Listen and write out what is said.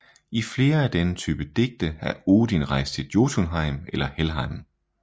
I flere af denne type digte er Odin rejst til Jotunheim eller Helheim